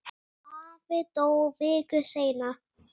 Afi dó viku seinna.